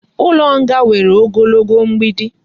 Ulo nga nwere ogologo mgbidi